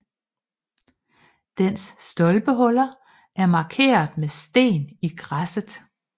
Dens stolpehuller er markeret med sten i græsset